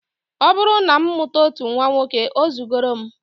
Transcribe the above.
Ọ bụrụ na m mụta otu nnwa nwoke, o zugoro m